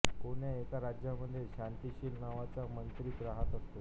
कोण्या एका राज्यामध्ये शांतिशील नावाचा मांत्रिक राहत असतो